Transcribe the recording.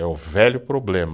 É o velho problema.